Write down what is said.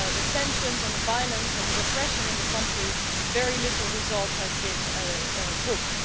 tensions and the violence and the repression in the country, very little result has been booked.